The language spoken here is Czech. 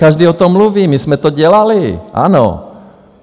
Každý o tom mluví, my jsme to dělali, ano.